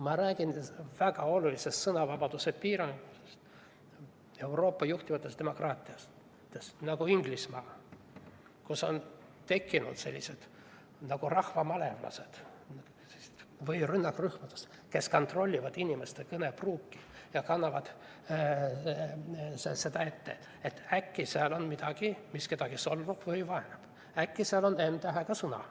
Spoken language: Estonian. Ma räägin väga olulisest sõnavabaduse piiramisest Euroopa juhtivates demokraatiates, näiteks Inglismaal, kus on tekkinud nagu rahvamalevlased või rünnakrühmlased, kes kontrollivad inimeste kõnepruuki ja kannavad sellest ette, et äkki seal on midagi, mis kedagi solvab või vaenab, äkki seal on n-tähega sõna.